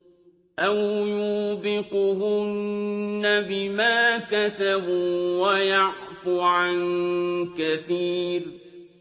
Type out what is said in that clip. أَوْ يُوبِقْهُنَّ بِمَا كَسَبُوا وَيَعْفُ عَن كَثِيرٍ